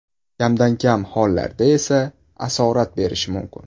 Kamdan kam hollarda esa asorat berishi mumkin.